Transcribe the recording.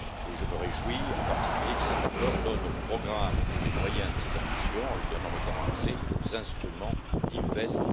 Je me réjouis en particulier que cet accord donne au programme tous les moyens de ses ambitions, en lui donnant notamment accès aux instruments d'InvestEU.